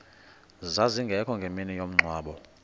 zazingekho ngemini yomngcwabo